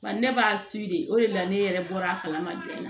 Ba ne b'a de o de la ne yɛrɛ bɔra a kalama